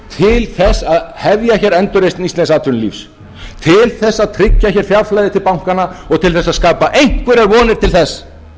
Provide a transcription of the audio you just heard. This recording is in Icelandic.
grundvallaratriði til þess að hefja hér endurreisn íslensks atvinnulífs til þess að tryggja hér fjárflæði til bankanna og til að skapa einhverjar vonir til þess